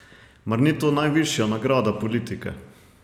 Mar ni to najvišja nagrada politike?